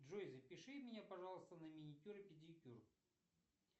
джой запиши меня пожалуйста на маникюр и педикюр